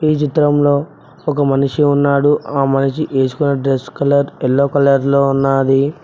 ఈ చిత్రంలో ఒక మనిషి ఉన్నాడు ఆ మనిషి వేసుకున్న డ్రెస్ యెల్లో కలర్ లో ఉన్నాది.